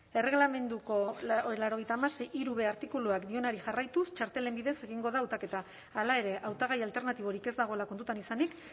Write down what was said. erregelamenduko laurogeita hamasei puntu hirub artikuluak dioenari jarraituz txartelen bidez egingo da hautaketa hala ere hautagai alternatiborik ez dagoela kontuan izanik